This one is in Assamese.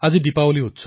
আজি দিপাৱলী